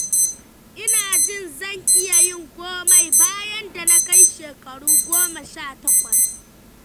Ina jin zan iya yin komai, bayan da na kai shekaru goma sha takwas.